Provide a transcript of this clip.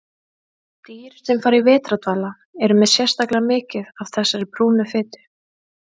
Dýr sem fara í vetrardvala eru með sérstaklega mikið af þessari brúnu fitu.